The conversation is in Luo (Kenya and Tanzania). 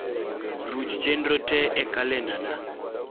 ruch chenro te e kalendana